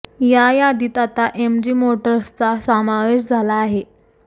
या यादीत आता एमजी मोटर्सचा समावेश झाला आहे